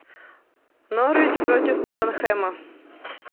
норвич против тоттенхэма